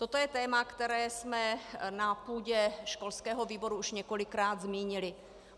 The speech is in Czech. Toto je téma, které jsme na půdě školského výboru už několikrát zmínili.